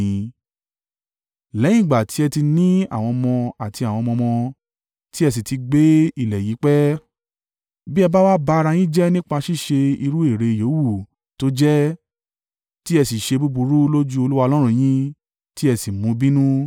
Lẹ́yìn ìgbà tí ẹ ti ní àwọn ọmọ àti àwọn ọmọ ọmọ, tí ẹ sì ti gbé ní ilẹ̀ yìí pẹ́, bí ẹ bá wá ba ara yín jẹ́ nípa ṣíṣe irú ère yówù tó jẹ́, tí ẹ sì ṣe búburú lójú Olúwa Ọlọ́run yín, tí ẹ sì mú un bínú.